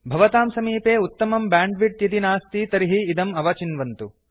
भवतां समीपे उत्तमं ब्यांड् विड्थ् यदि नास्ति तर्हि इदम् अवचिन्वन्तु